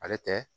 Ale tɛ